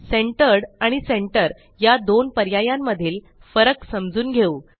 centred आणि centre या दोन पर्यायांमधील फरक समजून घेऊ